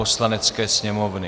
Poslanecké sněmovny